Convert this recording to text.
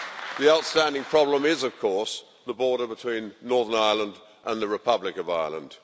The outstanding problem is, of course, the border between Northern Ireland and the Republic of Ireland.